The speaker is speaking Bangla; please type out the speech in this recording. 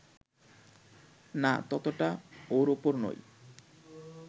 না ততটা ওর ওপর নয়